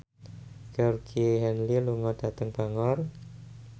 Georgie Henley lunga dhateng Bangor